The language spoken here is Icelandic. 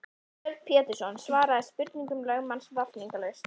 Björn Pétursson svaraði spurningum lögmanns vafningalaust.